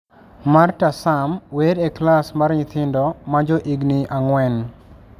Marta Sam wer e klas mar nyithindo ma johigini ang'wen.